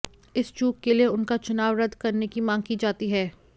इस चूक के लिए उनका चुनाव रद्द करने की मांग की जाती है